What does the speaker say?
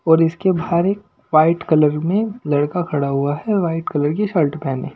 और इसके बाहर एक वाइट कलर में लड़का खड़ा हुआ हैवाइट कलर की शर्ट पहने --